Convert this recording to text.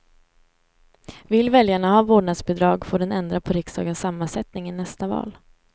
Vill väljarna ha vårdnadsbidrag får den ändra på riksdagens sammansättning i nästa val.